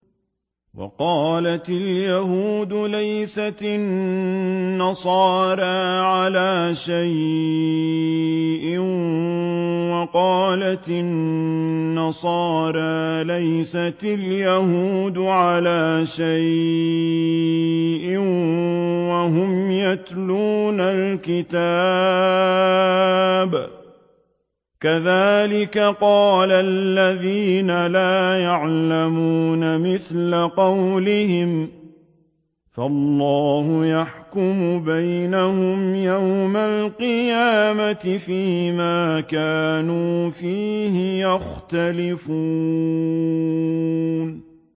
وَقَالَتِ الْيَهُودُ لَيْسَتِ النَّصَارَىٰ عَلَىٰ شَيْءٍ وَقَالَتِ النَّصَارَىٰ لَيْسَتِ الْيَهُودُ عَلَىٰ شَيْءٍ وَهُمْ يَتْلُونَ الْكِتَابَ ۗ كَذَٰلِكَ قَالَ الَّذِينَ لَا يَعْلَمُونَ مِثْلَ قَوْلِهِمْ ۚ فَاللَّهُ يَحْكُمُ بَيْنَهُمْ يَوْمَ الْقِيَامَةِ فِيمَا كَانُوا فِيهِ يَخْتَلِفُونَ